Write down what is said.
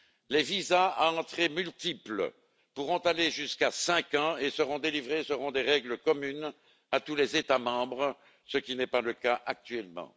Les visas à entrées multiples pourront aller jusqu'à cinq ans et seront délivrés selon des règles communes à tous les États membres, ce qui n'est pas le cas actuellement.